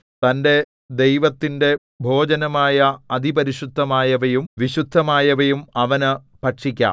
തന്റെ ദൈവത്തിന്റെ ഭോജനമായ അതിപരിശുദ്ധമായവയും വിശുദ്ധമായവയും അവനു ഭക്ഷിക്കാം